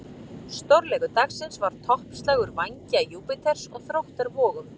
Stórleikur dagsins var toppslagur Vængja Júpíters og Þróttar Vogum.